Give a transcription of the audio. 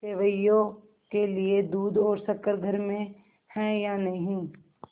सेवैयों के लिए दूध और शक्कर घर में है या नहीं